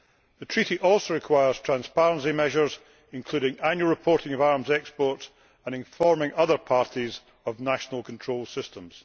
The Treaty also requires transparency measures, including annual reporting of arms exports and informing other parties of national control systems.